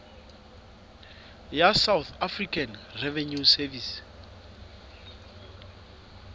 ya south african revenue service